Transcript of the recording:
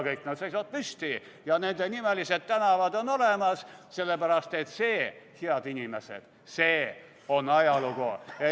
Kõik need seisavad püsti ja nendenimelised tänavad on olemas, sellepärast et see, head inimesed, on ajalugu.